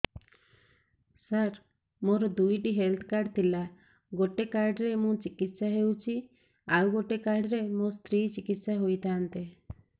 ସାର ମୋର ଦୁଇଟି health card ଥିଲା ଗୋଟେ କାର୍ଡ ରେ ମୁଁ ଚିକିତ୍ସା ହେଉଛି ଆଉ ଗୋଟେ କାର୍ଡ ରେ ମୋ ସ୍ତ୍ରୀ ଚିକିତ୍ସା ହୋଇଥାନ୍ତେ